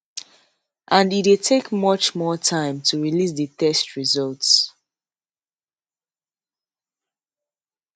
and e dey take much more time to release di test results